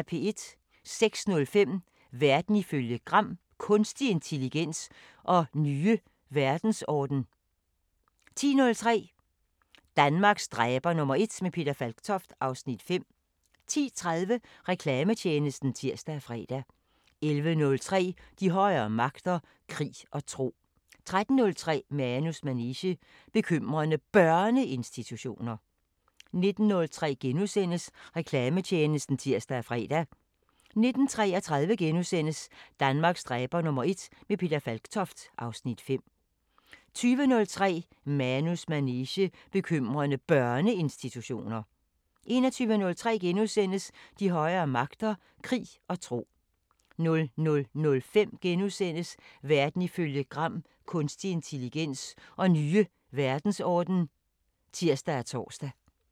06:05: Verden ifølge Gram Kunstig intelligens og nye verdensorden 10:03: Danmarks dræber #1 – med Peter Falktoft (Afs. 5) 10:30: Reklametjenesten (tir og fre) 11:03: De højere magter: Krig og tro 13:03: Manus manege: Bekymrende Børneinstitutioner 19:03: Reklametjenesten *(tir og fre) 19:33: Danmarks dræber #1 – med Peter Falktoft (Afs. 5)* 20:03: Manus manege: Bekymrende Børneinstitutioner 21:03: De højere magter: Krig og tro * 00:05: Verden ifølge Gram Kunstig intelligens og nye verdensorden *(tir og tor)